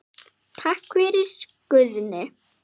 Takk fyrir, Guðni.